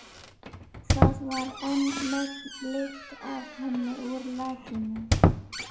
Það var enn megn lykt af henni úr lakinu.